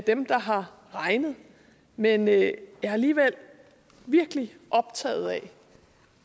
dem der har regnet men jeg er alligevel virkelig optaget af